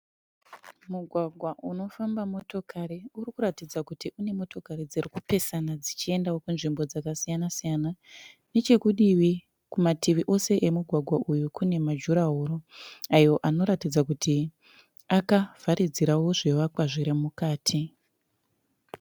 Mugwagwa unofamba motokari. Uri kuratidza kuti unemotokari dziri kupesana dzichienda kunzvimbo dzakasiysana siyana. Nechekudivi, kumativi ese emugwagwa uyu kune majurahoro ayo anoratidza kuti akavharidzirawo zvivakwa zviri mukati.